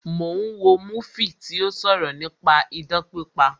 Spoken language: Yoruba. Mo ń wo múfì tí ó sọ̀rọ̀ nípa idán pípa